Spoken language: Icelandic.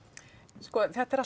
sko þetta er allt